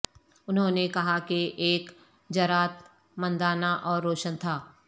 انہوں نے کہا کہ ایک جرات مندانہ اور روشن تھا